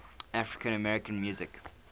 african american music